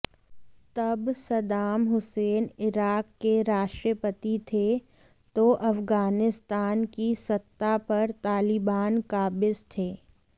तब Saddam Hussein Iraq के राष्ट्रपति थे तो अफगानिस्तान की सत्ता पर तालिबान काबिज थे